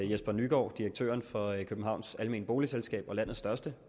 jesper nygård direktør for københavns almene boligselskab og landets største